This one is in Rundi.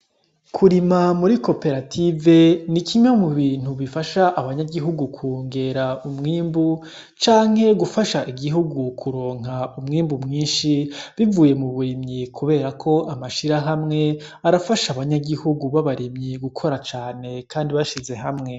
Kurima muri koperative ni kimwe mu bintu bifasha abanyagihugu kwongera umwimbu, canke gufasha igihugu kuronka umwimbu mwinshi bivuye mu burimyi; kubera ko amashirahamwe arafasha abanyagihugu b'abarimyi gukora cane kandi bashize hamwe.